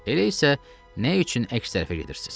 Elə isə nə üçün əks tərəfə gedirsiz?